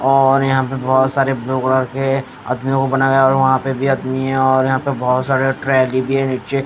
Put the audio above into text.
और यहां पे बहोत सारे ब्लू कलर के आदमियों बनाया और वहां पे भी आदमी है और यहां पर बहोत सारे ट्रेंडी भी है नीचे --